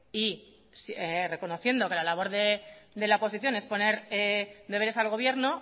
y reconociendo que la labor de la oposición es poner deberes al gobierno